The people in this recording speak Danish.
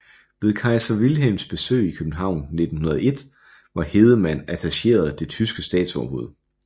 Ved kejser Wilhelms besøg i København 1901 var Hedemann attacheret det tyske statsoverhoved